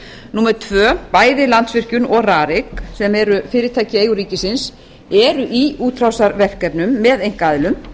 orkuveitunnar númer tvö bæði landsvirkjun og rarik sem eru fyrirtæki í eigu ríkisins eru í útrásarverkefnum með einkaaðilum